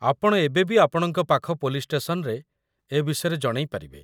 ଆପଣ ଏବେ ବି ଆପଣଙ୍କ ପାଖ ପୋଲିସ୍‌ ଷ୍ଟେସନରେ ଏ ବିଷୟରେ ଜଣେଇପାରିବେ ।